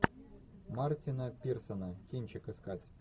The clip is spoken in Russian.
мартина пирсона кинчик искать